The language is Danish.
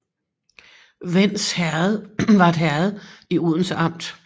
Vends Herred var et herred i Odense Amt